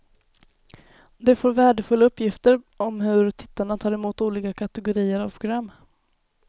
De får värdefulla uppgifter om hur tittarna tar emot olika kategorier av program.